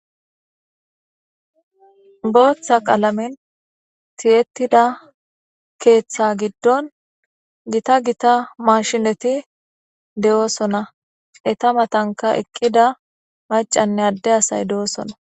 Botha qalamen ti'etida ketha giidon gitta gitta mashineti de'osona eta matanika eqida maca asayine ade asay do'sona